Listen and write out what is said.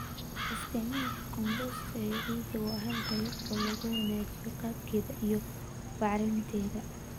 Isticmaalka compost ee ciidda waa hal dariiqo oo lagu wanaajiyo qaabkeeda iyo bacrinteeda.